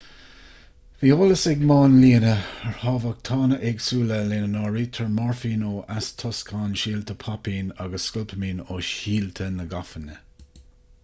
bhí eolas ag máinlianna ar thámhachtána éagsúla lena n-áirítear moirfín ó eastóscán síolta poipín agus scopalaimín ó shíolta na gafainne